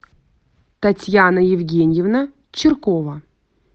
татьяна евгеньевна чиркова